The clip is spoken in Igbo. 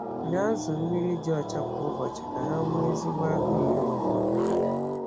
Nye azụ mmiri dị ọcha kwa ụbọchị ka ha nwee ezigbo agụụ iri nri.